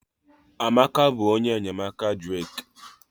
Amaka bụ onye enyemaka Drake